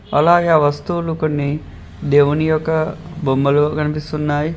అలాగే ఆ వస్తువులు కొన్ని అలాగే దేవుని యొక్క బొమ్మలు కనిపిస్తున్నాయి.